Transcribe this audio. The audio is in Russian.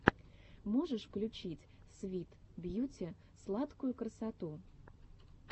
можешь включить свит бьюти сладкую красоту